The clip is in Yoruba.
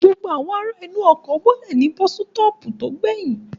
Gbogbo àwọn ará inú ọkọ̀ bọ́lẹ̀ ní bọ́sítọ̀ọ̀pù tó gbẹyìn